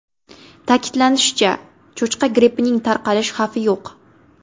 Ta’kidlanishicha, cho‘chqa grippining tarqalish xavfi yo‘q.